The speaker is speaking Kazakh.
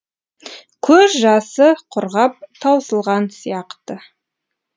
көз жасы құрғап таусылған сияқты